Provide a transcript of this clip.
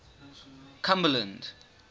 cumberland